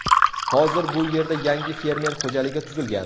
Hozir bu yerda yangi fermer xo‘jaligi tuzilgan.